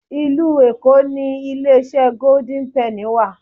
Ìlú Èkó ni ilé iṣẹ́ Gódín Pẹ́nì wà.